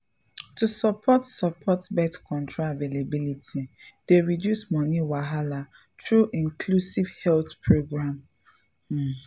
to support support birth control availability dey reduce money wahala through inclusive health programs um